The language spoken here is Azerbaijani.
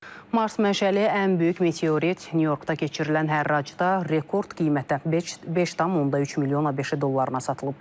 Mars mənşəli ən böyük meteorit Nyu-Yorkda keçirilən hərracda rekord qiymətə 5,3 milyon ABŞ dollarına satılıb.